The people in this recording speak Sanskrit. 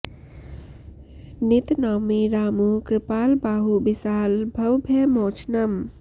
नित नौमि रामु कृपाल बाहु बिसाल भव भय मोचनं